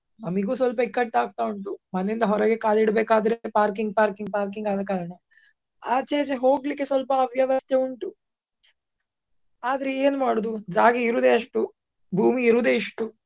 ನಮಿಗು ಸ್ವಲ್ಪ ಇಕ್ಕಟ್ಟ್ ಆಗ್ತಾ ಉಂಟು. ಮನೆಯಿಂದ ಹೊರಗೆ ಕಾಲ್ ಇಡಬೇಕಾದ್ರೆ parking, parking, parking ಆದ ಕಾರಣ. ಆಚೆ ಈಚೆ ಹೋಗ್ಲಿಕ್ಕೆ ಸ್ವಲ್ಪ ಅವ್ಯವಸ್ಥೆ ಉಂಟು. ಆದ್ರೆ ಏನ್ ಮಾಡುದು ಜಾಗ ಇರುದೇ ಅಷ್ಟು ಭೂಮಿ ಇರುದೇ ಇಷ್ಟು.